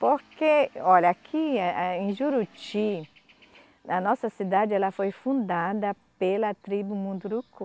Porque, olha, aqui a em Juruti, a nossa cidade ela foi fundada pela tribo Munduruku.